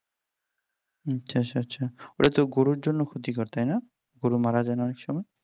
আচ্ছা আচ্ছা আচ্ছা ওটা গরুর জন্য ক্ষতিকর তাই না গরু মারা যায় না অনেক সময়